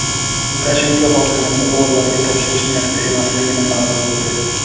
Lukashenko hokimiyatni o‘g‘illariga topshirish niyatida emasligini ma’lum qildi.